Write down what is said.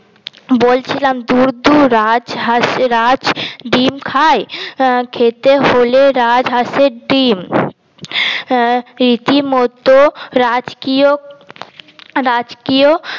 বলছিলাম ধুর ধুর রাজ হাস রাজ ডিম খায় খেতে হলে রাজ হাসের ডিম আঁ রীতি মতো রাজকীয় রাজকীয়